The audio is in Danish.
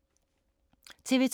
TV 2